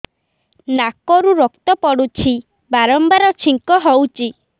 ନାକରୁ ରକ୍ତ ପଡୁଛି ବାରମ୍ବାର ଛିଙ୍କ ହଉଚି